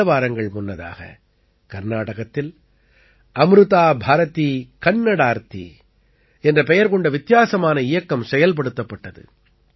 சில வாரங்கள் முன்னதாக கர்நாடகத்தில் அம்ருதா பாரதீ கன்னடார்த்தீ என்ற பெயர் கொண்ட வித்தியாசமான இயக்கம் செயல்படுத்தப்பட்டது